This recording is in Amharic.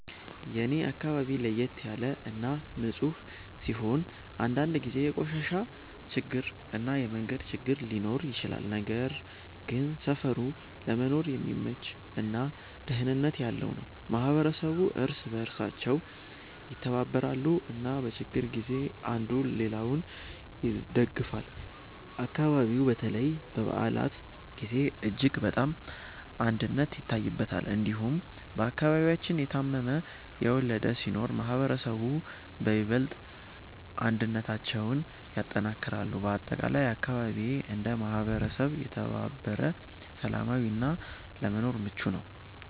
የኔ አካባቢ ለየት ያለ እና ንፁህ ሲሆን፣ አንዳንድ ጊዜ የቆሻሻ ችግር እና የመንገድ ችግር ሊኖር ይችላል። ነገር ግን ሰፈሩ ለመኖር የሚመች እና ደህንነት ያለው ነው። ማህበረሰቡ እርስ በእርሳቸው ይተባበራሉ እና በችግር ጊዜ አንዱ ሌላውን ይደግፋል። አካባቢው በተለይ በበዓላት ጊዜ እጅግ በጣም አንድነት ይታይበታል። እንዲሁም በአከባቢያችን የታመመ፣ የወለደ ሲኖር ማህበረሰቡ በይበልጥ አንድነታቸውን ያጠናክራሉ። በአጠቃላይ አካባቢዬ እንደ ማህበረሰብ የተባበረ፣ ሰላማዊ እና ለመኖር ምቹ ነው።